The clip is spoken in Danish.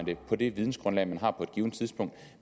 det på det vidensgrundlag man har på et givent tidspunkt